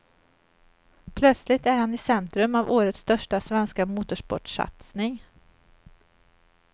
Plötsligt är han i centrum av årets största svenska motorsportssatsning.